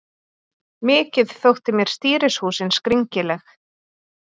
Mikið þótti mér stýrishúsin skringileg.